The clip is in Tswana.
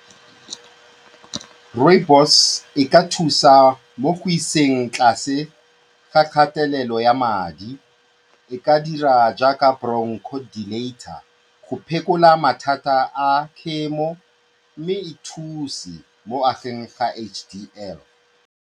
Rooibos e ka thusa mo go iseng tlase ga kgatelelo ya madi, e ka dira jaaka brochodilator go phekola mathata a khemo mme e thuse mo go ageng ga H_D_L.